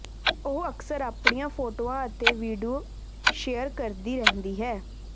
ਉਹ ਅਕਸਰ ਆਪਣੀਆਂ ਫੋਟੋਆਂ ਅਤੇ ਵੀਡਿਓ ਸ਼ੇਅਰ ਕਰਦੀ ਰਹਿੰਦੀ ਹੈ